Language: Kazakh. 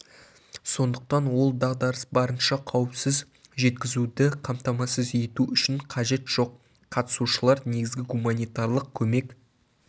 сондықтан ол дағдарыс барынша қауіпсіз жеткізуді қамтамасыз ету үшін қажет жоқ қатысушылар негізгі гуманитарлық көмек